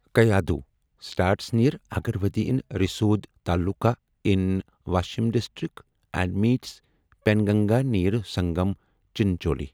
Kayadhu starts near Agarwadi in Risod taluka in Washim district and meets Penganga near Sangam Chincholi